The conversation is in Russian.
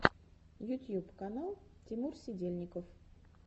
ютьюб канал тимур сидельников